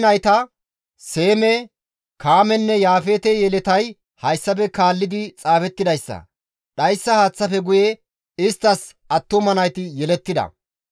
Nohe nayta, Seeme, Kaamenne Yaafeete yeletay hayssafe kaalli xaafettidayssa; dhayssa haaththaafe guye isttas attuma nayti yelettida.